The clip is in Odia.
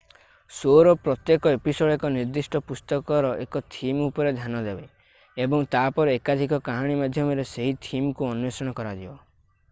ଶୋ'ର ପ୍ରତ୍ୟେକ ଏପିସୋଡ୍ ଏକ ନିର୍ଦ୍ଦିଷ୍ଟ ପୁସ୍ତକର ଏକ ଥିମ୍ ଉପରେ ଧ୍ୟାନ ଦେବ ଏବଂ ତା'ପରେ ଏକାଧିକ କାହାଣୀ ମାଧ୍ୟମରେ ସେହି ଥିମ୍ କୁ ଅନ୍ଵେଷଣ କରାଯିବ